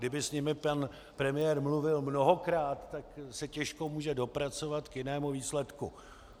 Kdyby s nimi pan premiér mluvil mnohokrát, tak se těžko může dopracovat k jinému výsledku.